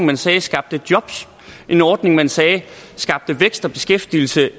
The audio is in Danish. man sagde skabte jobs en ordning som man sagde skabte vækst og beskæftigelse